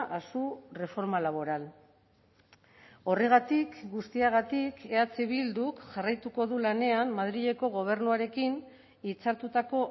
a su reforma laboral horregatik guztiagatik eh bilduk jarraituko du lanean madrileko gobernuarekin hitzartutako